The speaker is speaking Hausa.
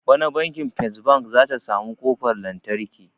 Bana banki first bank zata samu kofar lantarki